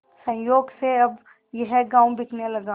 संयोग से अब यह गॉँव बिकने लगा